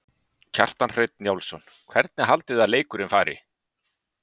Kjartan Hreinn Njálsson: Hvernig haldið þið að leikurinn fari?